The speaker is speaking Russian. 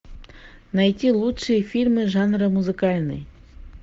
найти лучшие фильмы жанра музыкальный